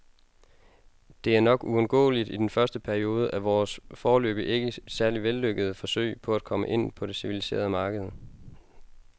Det er nok uundgåeligt i den første periode af vores, foreløbig ikke særlig vellykkede, forsøg på at komme ind på det civiliserede marked.